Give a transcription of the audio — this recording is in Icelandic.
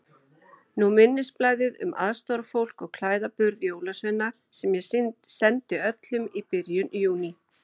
Nú minnisblaðið um aðstoðarfólk og klæðaburð jólasveina sem ég sendi öllum í byrjun Júní.